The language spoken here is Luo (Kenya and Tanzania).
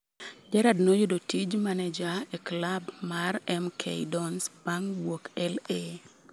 Gerrard noyudo tij meneja e klab mar MK Dons bang' wuok LA